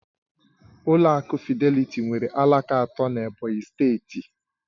Ụlọ akụ Fịdélị̀tí nwere alaka atọ n'Ebonyi steeti